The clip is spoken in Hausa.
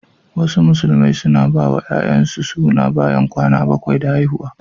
Wasu Musulmai suna bawa 'ya'yansu suna bayan kwana bakwai da haihuwa.